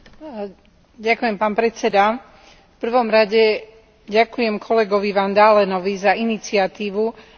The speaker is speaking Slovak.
V prvom rade ďakujem kolegovi Van Dalenovi za iniciatívu zaradiť do programu tento bod.